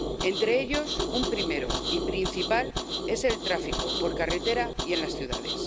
Entre ellos, un primero y principal es el tráfico por carretera y en las ciudades.